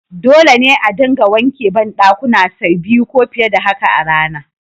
Dole ne a dinga wanke bandakuna say biyu ko fiye da haka a rana.